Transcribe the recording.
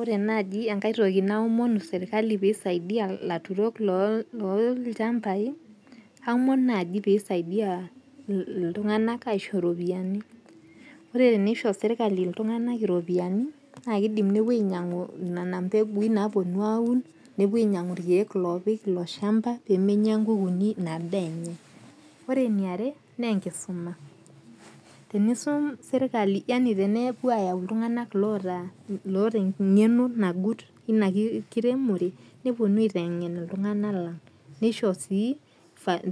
Ore naaji enkae toki naomonu serikali pee isaidia ilaturok loo ilchambai, aomon naji pee isaidia pee isaidia iltung'anak aisho iropiani , ore tenisho serikali iltung'anak iropiani naa kidim nepuo ainyang'u nena mbeguin naponu aun , nepuo ainyang'u irkeek loopik ilo shamba pemenya inkukunik ina daa enye. Ore ene iare naa enkisuma. Tenisum serikali yaani tenepuo ayau oltung'anak loota eng'eno nagut ina kiremore neponuo aiteng'en iltung'anak lang'. Nisho sii